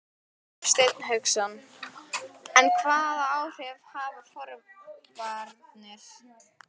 Hafsteinn Hauksson: En hvaða áhrif hafa forvarnir?